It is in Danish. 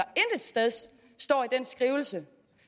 står i den skrivelse